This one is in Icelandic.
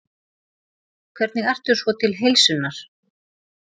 Hvernig ertu svo til heilsunnar?